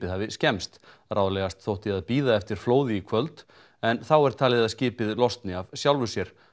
hafi skemmst ráðlegast þótti að bíða eftir flóði í kvöld en þá er talið að skipið losni af sjálfu sér